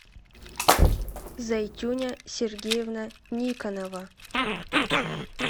зайтюня сергеевна никоновна